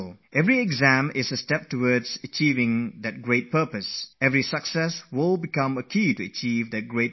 Each exam will then become just one more step towards realizing that dream; each success will turn into a key of realizing that goal